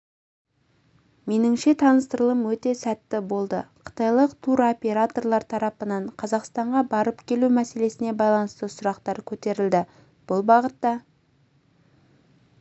меніңше таныстырылым өте сәтті болды қытайлық туроператорлар тарабынан қазақстанға барып-келу мәселесіне байланысты сұрақтар көтерілді бұл бағытта